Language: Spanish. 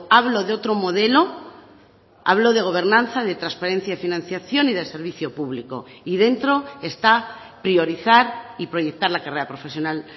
hablo de otro modelo hablo de gobernanza de transparencia y financiación y del servicio público y dentro esta priorizar y proyectar la carrera profesional